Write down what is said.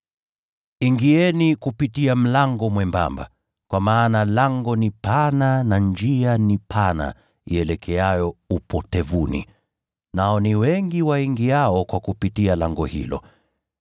“Ingieni kupitia mlango mwembamba, kwa maana lango ni pana na njia ni pana ielekeayo upotevuni, nao ni wengi waingiao kwa kupitia lango hilo.